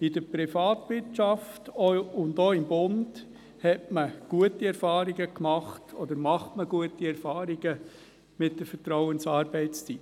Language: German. In der Privatwirtschaft und auch beim Bund hat man beziehungsweise macht man gute Erfahrungen mit der Vertrauensarbeitszeit.